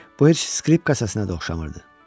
Bu heç skripka səsinə oxşamırdı.